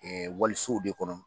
Ɛɛ walisow de kɔnɔ